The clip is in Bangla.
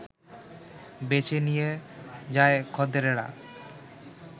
বেছে নিয়ে যায় খদ্দেররা